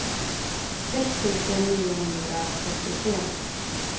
sex tusen niohundratrettiotre